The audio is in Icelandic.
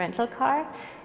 það